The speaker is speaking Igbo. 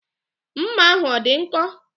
Mma ahụ ọ dị nkọ?